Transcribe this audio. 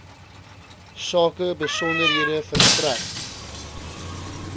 sake besonderhede verstrek